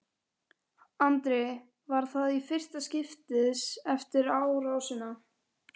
Andri: Var það í fyrsta skiptið eftir árásina?